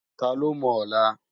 Tá ló mò òlá?